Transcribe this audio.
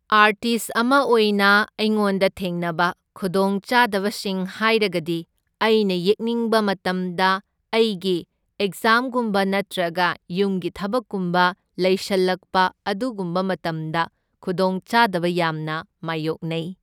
Artist ꯑꯃ ꯑꯣꯏꯅ ꯑꯩꯉꯣꯟꯗ ꯊꯦꯡꯅꯕ ꯈꯨꯗꯣꯡꯆꯥꯗꯕꯁꯤꯡ ꯍꯥꯏꯔꯒꯗꯤ ꯑꯩꯅ ꯌꯦꯛꯅꯤꯡꯕ ꯃꯇꯝꯗ ꯑꯩꯒꯤ ꯑꯦꯛꯖꯥꯝꯒꯨꯝꯕ ꯅꯠꯇ꯭ꯔꯒ ꯌꯨꯝꯒꯤ ꯊꯕꯛꯀꯨꯝꯕ ꯂꯩꯁꯜꯂꯛꯄ ꯑꯗꯨꯒꯨꯝꯕ ꯃꯇꯝꯗ ꯈꯨꯗꯣꯡꯆꯥꯗꯕ ꯌꯥꯝꯅ ꯃꯥꯢꯌꯣꯛꯅꯩ꯫